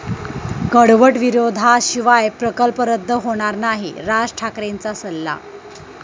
कडवट विरोधाशिवाय प्रकल्प रद्द होणार नाही, राज ठाकरेंचा सल्ला